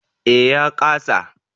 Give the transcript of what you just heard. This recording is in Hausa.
Eh ya ƙasa